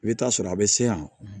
I bɛ taa sɔrɔ a bɛ se yan